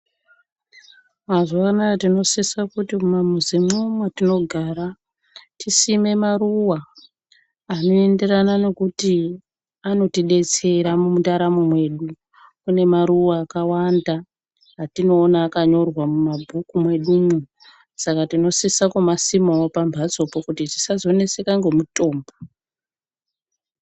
Mazuwa anaa tinosise kuti mumamizimwo mwatinogara tisime maruwa anoenderana nekuti anotidetsera mundaramo mwedu. Kune maruwa akawanda atinoona akanyorwa mumabhuku mwedu umwo. Saka tinosise kumasima kuti tisaneseke ngemitombo.